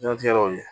Diɲɛ tigɛ yɔrɔw ye